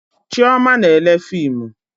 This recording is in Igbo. Chioma na-ele fimu